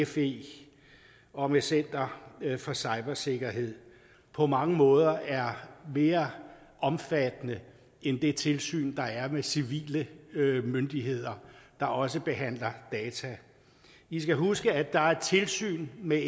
fe og med center for cybersikkerhed på mange måder er mere omfattende end det tilsyn der er med civile myndigheder der også behandler data i skal huske at der er tilsyn med